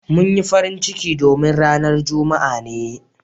Mun yi farin ciki domin ranan Juma'a ne.